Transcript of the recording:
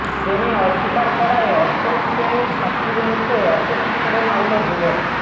প্রেমে অস্বীকার করায় অষ্টম শ্রেণির ছাত্রীর মুখে অ্যাসিড ছুঁড়ে মারল যুবক